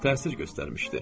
Təsir göstərmişdi.